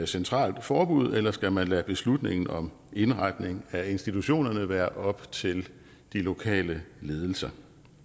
centralt forbud eller skal man lade beslutningen om indretningen af institutionerne være op til de lokale ledelser